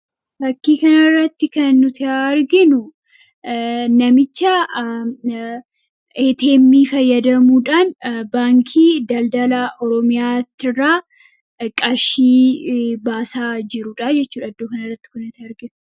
Fakkii kanarratti kan nuti arginu namicha ATM fayyadamuudhaan baankii Daldala Oromiyaatirraa qarshii baasaa jirudha jechuudha iddoo kanarratti kan nuti arginu.